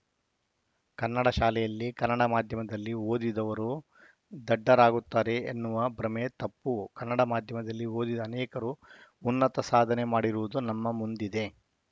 ಕನ್ನಡ ಶಾಲೆಯಲ್ಲಿ ಕನ್ನಡ ಮಾಧ್ಯಮದಲ್ಲಿ ಓದಿದವರು ದಡ್ಡರಾಗುತ್ತಾರೆ ಎನ್ನುವ ಭ್ರಮೆ ತಪ್ಪು ಕನ್ನಡ ಮಾಧ್ಯಮದಲ್ಲಿ ಓದಿದ ಅನೇಕರು ಉನ್ನತ ಸಾಧನೆ ಮಾಡಿರುವುದು ನಮ್ಮ ಮುಂದಿದೆ